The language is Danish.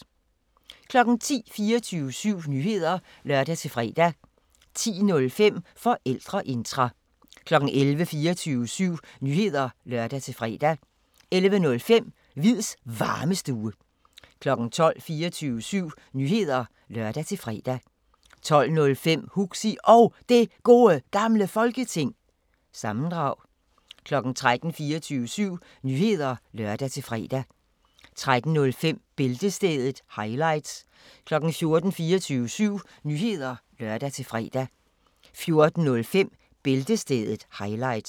10:00: 24syv Nyheder (lør-fre) 10:05: Forældreintra 11:00: 24syv Nyheder (lør-fre) 11:05: Hviids Varmestue 12:00: 24syv Nyheder (lør-fre) 12:05: Huxi Og Det Gode Gamle Folketing- sammendrag 13:00: 24syv Nyheder (lør-fre) 13:05: Bæltestedet – highlights 14:00: 24syv Nyheder (lør-fre) 14:05: Bæltestedet – highlights